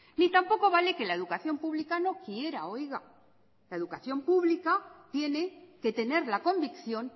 ni tampoco vale que la educación pública no quiera oiga la educación pública tiene que tener la convicción